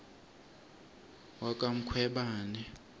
wakwamkhwebani